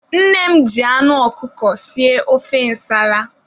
Nne m ji anụ ọkụkọ sie ofe nsala.